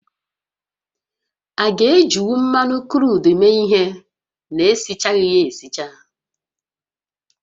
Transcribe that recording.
A ga-ejinwu mmanụ kruudu méé ihé na-esichaghị ya esicha?